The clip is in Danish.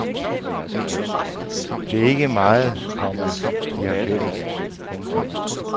Det er ikke meget, komma de har til fælles. punktum